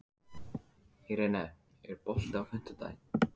Irene, er bolti á fimmtudaginn?